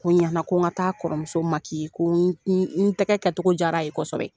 Ko ɲana ko n ka taa a kɔrɔmuso ko n tɛgɛ kɛcogo jara a ye kosɛbɛ